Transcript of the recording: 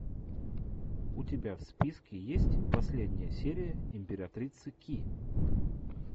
у тебя в списке есть последняя серия императрицы ки